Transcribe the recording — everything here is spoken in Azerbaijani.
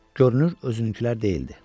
Görünür özünkülər deyildi.